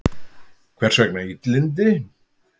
Hvers vegna illindi?